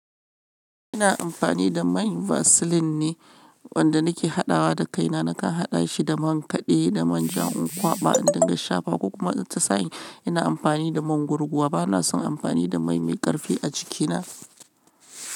Ina amfani da mai vaseline ne wanda nake haɗawa da kaina. Nakan haɗa shi da man kaɗe da man ja in kwaba, in dinga shafa ko kuma ta sa'i ina amfani da man gurguwa, bana son amfani da mai mai ƙarfi a jikina.